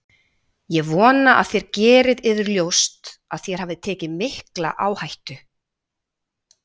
Ég vona þér gerið yður ljóst að þér hafið tekið mikla áhættu.